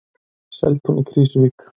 Seltún í Krýsuvík.